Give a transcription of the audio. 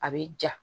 A bɛ ja